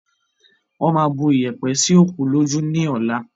Wọn má bu iyẹ̀pẹ̀ sì òkú lójú ni ọ̀la